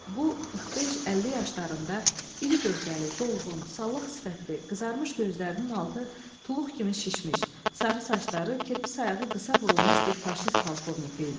Bu 45-50 yaşlarında iri gövdəli, dolğun, sallaq sifətli, qızarmış gözlərinin altı tuluq kimi şişmiş, sarı saçları kirpi sayağı qısa vurulmuş bir faşist polkovniki idi.